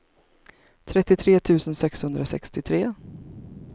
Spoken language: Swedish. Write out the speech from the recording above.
trettiotre tusen sexhundrasextiotre